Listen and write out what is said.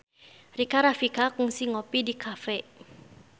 Rika Rafika kungsi ngopi di cafe